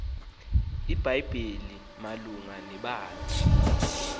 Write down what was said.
ibhayibhile malunga nebandla